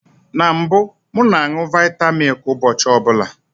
Na mbụ, m na añụ vita milk ụbọchị ọbụla